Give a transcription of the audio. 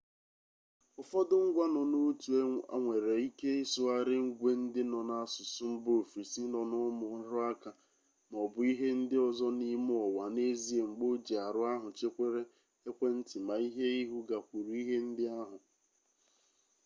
ụfọdụ ngwa nọ n'otu a nwere ike ịsụgharị ngwe ndị nọ n'asụsụ mba ofesi nọ n'ụmụ nrụaka ma ọ bụ ihe ndị ọzọ n'ime ụwa n'ezie mgbe ojiarụ ahụ chewere ekwentị-maihe ihu gakwuru ihe ndị ahụ